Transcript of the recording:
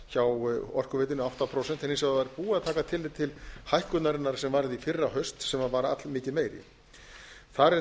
hjá orkuveitunni átta prósent en eins og búið var að taka tillit til hækkunarinnar sem varð í fyrrahaust sem var allmikið meiri þar er